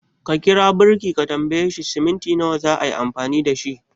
Ka kira birki ka tambaye shi cement nawa zaayi amfani dashi